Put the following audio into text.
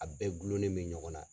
A bɛɛ gulonnen bɛ ɲɔgɔn na.